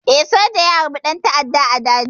Eh, soja ya harbi ɗan ta'adda a daji.